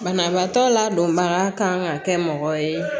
Banabaatɔ ladonbaga ka kan ka kɛ mɔgɔ ye